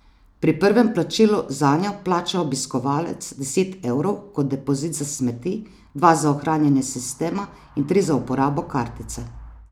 Pri prvem plačilu zanjo plača obiskovalec deset evrov kot depozit za smeti, dva za ohranjanje sistema in tri za uporabo kartice.